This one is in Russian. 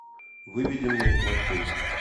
выведи мне плохой